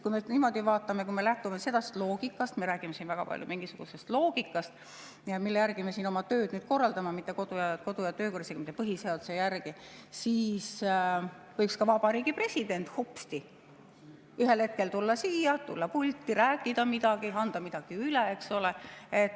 Kui me niimoodi vaatame, kui me lähtume sellest loogikast – me räägime siin väga palju mingisugusest loogikast, mille järgi me siin oma tööd nüüd korraldame, mitte kodu‑ ja töökorra, isegi mitte põhiseaduse järgi –, siis võiks ka vabariigi president hopsti ühel hetkel tulla siia, tulla pulti, rääkida midagi, anda midagi üle, eks ole.